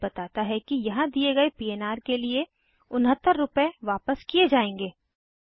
यह बताता है कि यहाँ दिए गए पन्र के लिए 69 रुपए वापस किये जायेंगे